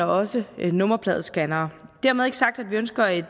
også nummerpladescannere dermed ikke sagt at vi ønsker et